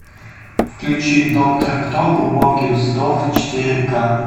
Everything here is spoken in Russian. включи доктор кто глубокий вздох четыре ка